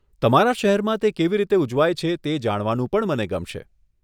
તમારા શહેરમાં તે કેવી રીતે ઉજવાય છે તે જાણવાનું પણ મને ગમશે.